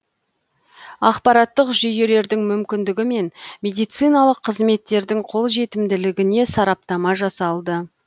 ақпараттық жүйелердің мүмкіндігі мен медициналық қызметтердің қолжетімділігіне сараптама жасалды